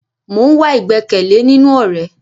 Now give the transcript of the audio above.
Mo ń wá igbẹkẹle nínú ọrẹ